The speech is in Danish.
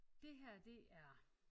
Det her det er